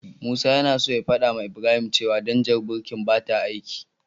Musa yana so ya fadawa Ibrahim cewa danjar birkin bata aiki.